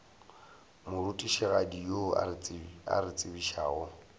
morutišigadi yo a re tsebišago